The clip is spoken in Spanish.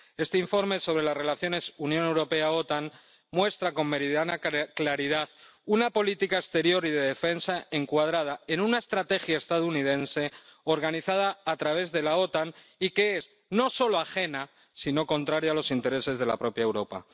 Este informe sobre las relaciones Unión Europea OTAN muestra con meridiana claridad una política exterior y de defensa encuadrada en una estrategia estadounidense organizada a través de la OTAN y que es no solo ajena, sino contraria a los intereses de la propia Europa.